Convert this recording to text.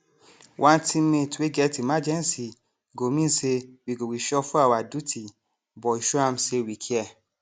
one teammate wey get emergency go mean say we go reshuffle our duty but we show am say we care